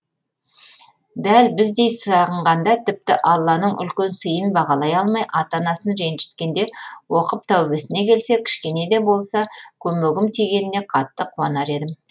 дәл біздей сағынғанда тіпті алланың үлкен сыйын бағалай алмай ата анасын ретжіткенде оқып тәубесіне келсе кішкенеде болса көмегім тигеніне қатты қуанар едім